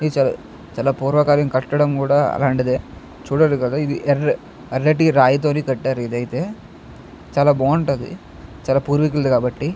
చాలా పూర్వకాలం కట్టడం కూడా అలాంటిదే చూడడు కదా ఇది ఎర్రటి రాయతోనే కట్టారు. ఇదైతే చాలా బాగుంటది చాలా పూర్వీకులు కాబట్టి.